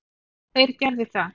Þeir gerðu það.